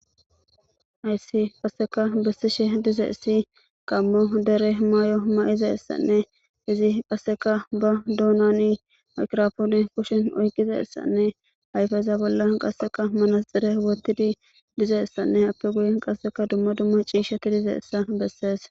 hayssi qaseka bessishe diza issi gammo dere mayo mayizaisanne izi qasseka ba duunani makrofoone kushin oyqiza essanne hayfeza bolla qasseka manasxire wotidi diza essanne happe guye qasseka duma duma ciisha ki dizayssa bessees